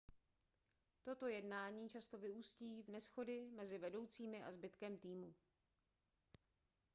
toto jednání často vyústí v neshody mezi vedoucími a zbytkem týmu